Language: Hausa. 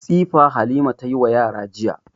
Tsifa Halima ta yi wa yara jiya.